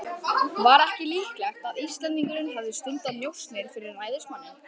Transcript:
Var ekki líklegt að Íslendingurinn hefði stundað njósnir fyrir ræðismanninn?